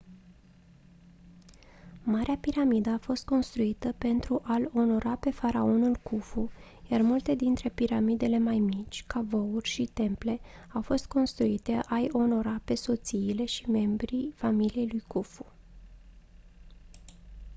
marea piramidă a fost construită pentru a-l onora pe faraonul khufu iar multe dintre piramidele mai mici cavouri și temple au fost construite a-i onora pe soțiile și membrii familiei lui khufu